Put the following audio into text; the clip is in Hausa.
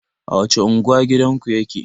A wacce unguwa gidanku yake?